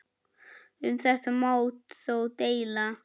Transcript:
Um þetta má þó deila.